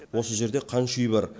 осы жерде қанша үй бар